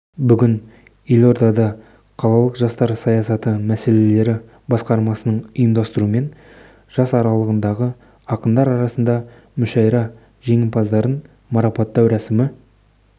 бүгін елордада қалалық жастар саясаты мәселелері басқармасының ұйымдастыруымен жас аралығындағы ақындар арасында мүшәйра жеңімпаздарын марапттау рәсімі